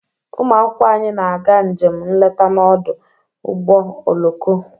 Ụmụ akwụkwọ anyị na-aga njem nleta n'ọdụ ụgbọ oloko.